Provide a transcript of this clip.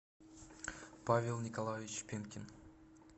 павел николаевич пенкин